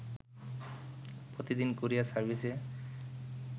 প্রতিদিন কুরিয়ার সার্ভিসে